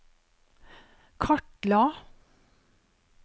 kartla